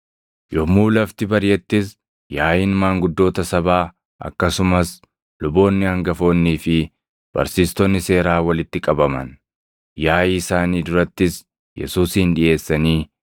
Yommuu lafti bariʼettis yaaʼiin maanguddoota sabaa akkasumas luboonni hangafoonnii fi barsiistonni seeraa walitti qabaman; yaaʼii isaanii durattis Yesuusin dhiʼeessanii,